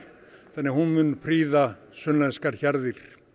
þannig að hún mun sunnlenskar hjarðir